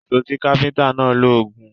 Ìṣọ tí káfíntà náà ń lò gùn.